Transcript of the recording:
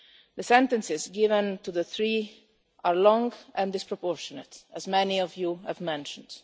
The sentences given to the three are long and disproportionate, as many of you have mentioned.